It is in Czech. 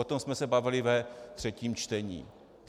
O tom jsme se bavili ve třetím čtení.